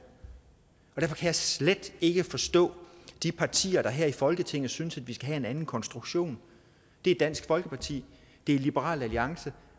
og derfor jeg slet ikke forstå de partier her i folketinget der synes at vi skal have en anden konstruktion det er dansk folkeparti det er liberal alliance